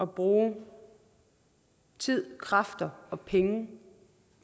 bruge tid kræfter og penge